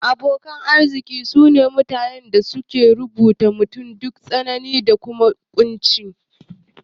Abokan arziki sune mutanen da basu rabuwa da mutum duk tsanani da kunci